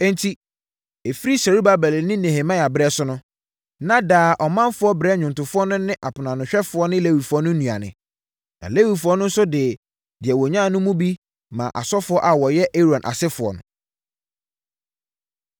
Enti, ɛfiri Serubabel ne Nehemia berɛ so no, na daa ɔmanfoɔ brɛ nnwomtofoɔ no ne aponoanohwɛfoɔ ne Lewifoɔ no nnuane. Na Lewifoɔ no nso de deɛ wɔnya no mu bi ma asɔfoɔ a wɔyɛ Aaron asefoɔ no.